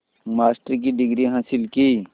master की degree हासिल की